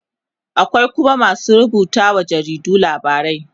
akwai Kuma masu rubutawa wa jaridu labarai.